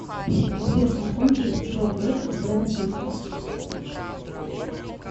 сбер знакомьтесь джо блэк с бредом питтом